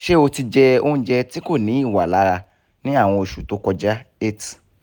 ṣe o ti jẹ oúnjẹ tí kò ní ìwà lára ní àwọn oṣù tó kọjá eight